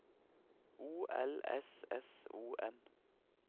O L S S O N